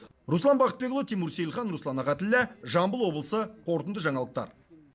руслан бақытбекұлы тимур сейілхан руслан ахатіллә жамбыл облысы қорытынды жаңалықтар